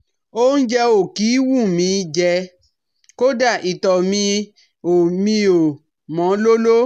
Óúnjẹ ò kí ń wù mí í jẹ, kódà ìtọ̀ mi ò mi ò mọ́ lóló